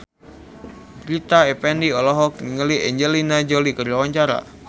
Rita Effendy olohok ningali Angelina Jolie keur diwawancara